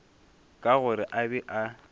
ka gore a be a